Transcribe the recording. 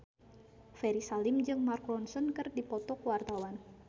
Ferry Salim jeung Mark Ronson keur dipoto ku wartawan